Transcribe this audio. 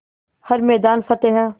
हर मैदान फ़तेह